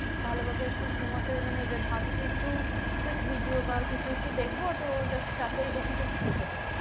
ভালোভাবে একটু ঘুমাতেই মানে ভাবি যে একটু just video বা কিছু একটু দেখবো তো just তাতেই দেখি যে ঘুম চলে আসে